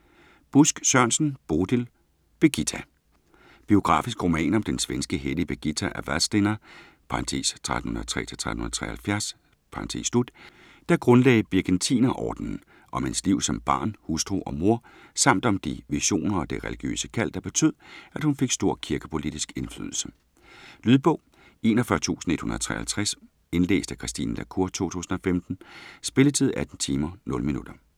Busk Sørensen, Bodil: Birgitta Biografisk roman om den svenske hellige Birgitta af Vadstena (1303-1373), der grundlagde Birgittinerordenen, om hendes liv som barn, hustru og mor samt om de visioner og det religiøse kald, der betød, at hun fik stor kirkepolitisk indflydelse. Lydbog 41153 Indlæst af Christine la Cour, 2015. Spilletid: 18 timer, 0 minutter.